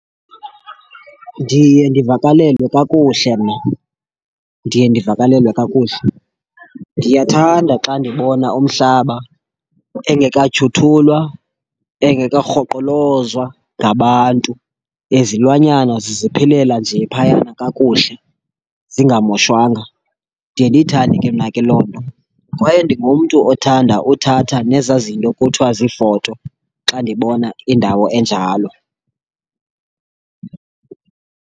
Ndiye ndivakalelwe kakuhle mna, ndiye ndivakalelwe kakuhle. Ndiyathanda xa ndibona umhlaba engekatyhuthulwa engakarhoqolozwa ngabantu. Nezilwanyana ziziphilela nje phayana kakuhle zingamoshwanga. Ndiye ndiyithande ke mna ke loo nto, kwaye ndingumntu othanda uthatha nezaa zinto kuthwa ziifoto xa ndibona indawo enjalo.